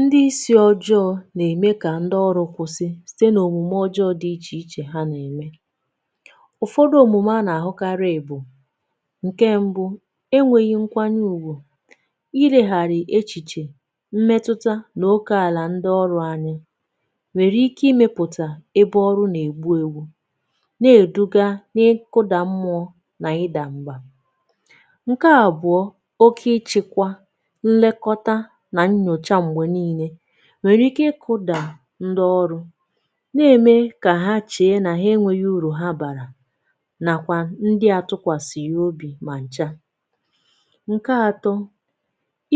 Ndị isi ọjọọ na-eme ka ndị ọrụ kwụsị site na omume ọjọọ dị iche iche ha na-eme ụfọdụ omume ana-ahụkarị bụ nke mbụ enweghị nkwanye ùgwù iregharị echiche mmetụta n'óke ala ndị ọrụ anya nwere ike imepụta ebe ọrụ na egbu egbu na eduga n'ịkụda mmụọ na ịda mba nke abụọ oke ịchekwa nlekọta na nnyocha mgbe niile nwere ike ịkụda ndị ọrụ na-eme ka ha chee na ha enweghị uru ha bara nakwa ndị atụkwasaghị obi ma ncha nke atọ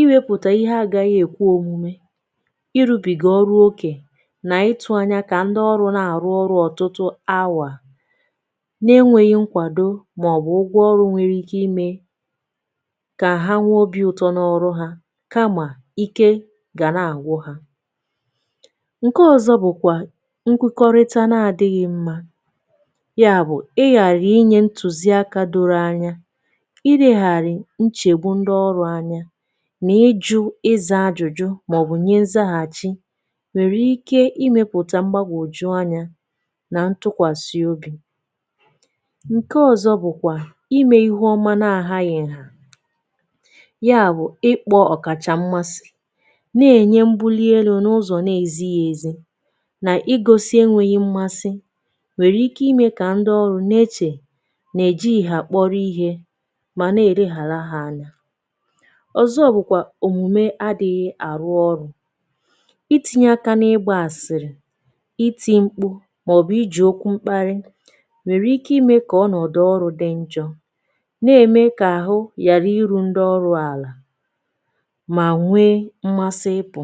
ịwepụta ihe agaghị ekwe omume ịrụbiga ọrụ oké na ịtụ anya ka ndị ọrụ na-arụ ọrụ ọtụtụ awa n'enweghị nkwado ma ọ bụ ụgwọ ọrụ nwere ike ime ka ha nwee obi ụtọ n'ọrụ ha kama ike ga na-agwụ ha nke ọzọ bụkwa nkwukọrịta n'adịghị mma ya bụ ịghara ịnye ntụziaka doro anya ịleghara nchegbu ndị ọrụ anya na ịjụ ịza ajụjụ ma ọ bụ nye nzaghachi nwere ike ịmepụta mgbagwoju anya na ntụkwasị obi nke ọzọ bụkwa ime ihe ọma n'adịghị nha ya bụ ịkpọ ọkacha mmasị Na-Enye mbuli elu n'ụzọ n'ezighị ezi na ịgosị enweghị mmasị nwere ike ime ka ndị ọrụ n'eche na ejighị ha kpọrọ ihe ma na eleghara ha anya ọzọ bụkwa omume adịghị arụ ọrụ itinye aka n'ịgba asịrị iti mkpu ma ọ bụ iji okwu mkparị nwere ike ime ka ọnọdụ ọrụ dị njọ na-eme ka ahụ ghara iru ndị ọrụ ala ma nwee mmasị ịpụ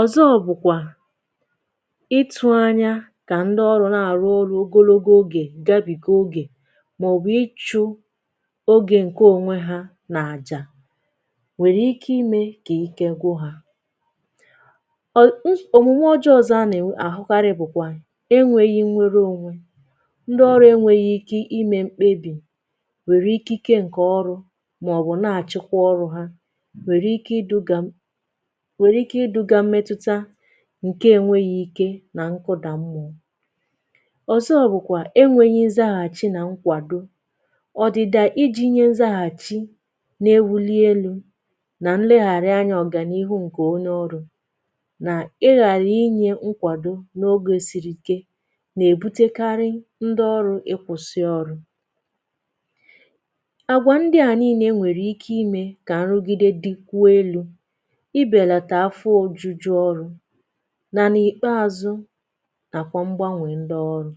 ọzọ bụkwa ịtụ anya ka ndị ọrụ na-arụ ọrụ ogologo oge gabiga oge ma ọ bụ ịchụ oge nke onwe ha n'aja nwere ike ime ka ike gwụ ha omume ọjọọ ọzọ ana-ahụkarị bụkwa enweghị nnwere onwe ndị ọrụ enweghị ike ime mkpebi nwere ikike nke ọrụ ma ọ bụ n'achịkwa ọrụ ha nwere ike iduga mmetụta nke enweghị ike na nkụda mmụọ ọzọ bụkwa enweghị nzaghachi n'ewuli elu na nleghara anya ọganịru nke onye ọrụ na ịghara ịnye nkwado n'oge siri ike n'ebutekarị ndị ọrụ ịkwụsị ọrụ àgwà ndịa niile nwere ike ime ka nrụgide dịkwuo elu ịbelata afọ ojuju ọrụ na n'ikpeazụ nakwa mgbanwe ndị ọrụ.